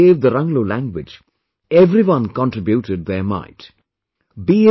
But in order to save the Ranglo language, everyone contributed their mite